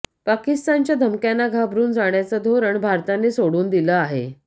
पाकिस्तानच्या धमक्यांना घाबरून जाण्याचं धोरण भारताने सोडून दिलं आहे